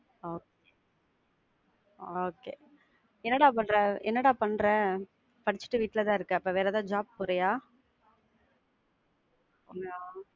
Okay okay என்ன டா பண்ற? என்ன டா பண்ற? படிச்சிட்டு வீட்ல தான் இருக்கா அப்போ வேற ஏதாவது job போறியா?